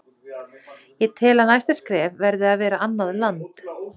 Ég tel að næsta skref verði að vera annað land.